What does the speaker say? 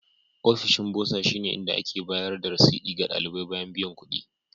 Ofishin Burser shine inda ake bayar da rasidi ga ɗalibai bayan biyan kuɗi.